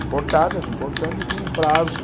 importadas, importando, e tinha um prazo.